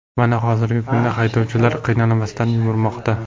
Mana, hozirgi kunda haydovchilar qiynalmasdan yurmoqda.